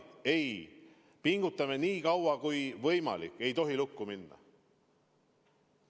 Me pingutame nii kaua kui võimalik, et see ei läheks lukku.